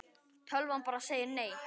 Tölvan bara segir nei.